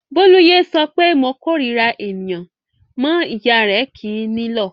Bólú yé sọ pé "mo korira ènìyàn" mọ́ ìyá rẹ̀ kì í nílọ̀.